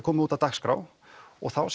komið út á dagskrá og þá